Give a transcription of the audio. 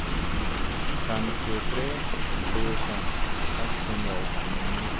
femtiotre tusen sexhundraåttionio